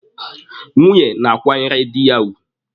Nwunye na-akwanyere dị ya ugwu.